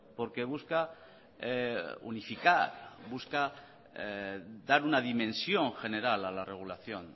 porque busca unificar busca dar una dimensión general a la regulación